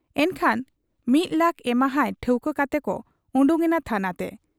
ᱮᱱᱠᱷᱟᱱ ᱢᱤᱫ ᱞᱟᱠᱷ ᱮᱢᱟᱦᱟᱭ ᱴᱷᱟᱹᱣᱠᱟᱹ ᱠᱟᱛᱮᱠᱚ ᱚᱰᱚᱠ ᱮᱱᱟ ᱛᱷᱟᱱᱟ ᱛᱮ ᱾